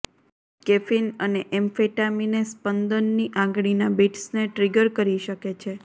caffeine અને એમ્ફેટામિને સ્પંદનની આંગળીના બિટ્સને ટ્રીગર કરી શકે છે